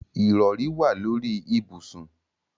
Ìrọrí wà lórí ibùsùn.